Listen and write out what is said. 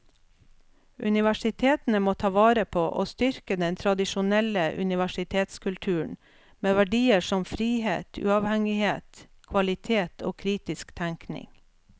Universitetene må ta vare på og styrke den tradisjonelle universitetskulturen med verdier som frihet, uavhengighet, kvalitet og kritisk tenkning.